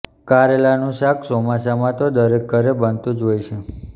કારેલાનું શાક ચોમાસામાં તો દરકે ઘરે બનતું જ હોય છે